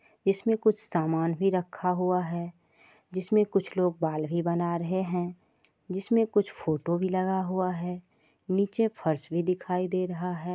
इसमे कुछ सामान भी रखा हुआ है जिसमे कुछ लोग बाल भी बना रहे है जिसमे कुछ फोटो भी लगा हुआ है नीचे फर्श भी दिखाई दे रहा है।